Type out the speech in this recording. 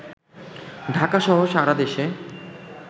ঢাকা-সহ সারা দেশে